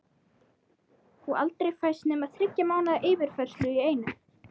Og aldrei fæst nema þriggja mánaða yfirfærsla í einu.